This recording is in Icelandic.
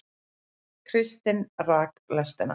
Kristinn rak lestina